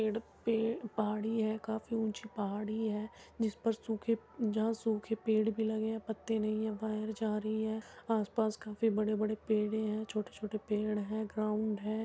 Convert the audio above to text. पेड़ पे पहाड़ी है काफ़ी ऊंची पहाड़ी है जिस पर सूख जहाँ सूखे पेड़ भी लगे हैं पत्ते नहीं है वायर जा रही है आसपास काफ़ी बड़े बड़े पेड़े हैं छोटे छोटे पेड़ है ग्राउन्ड है।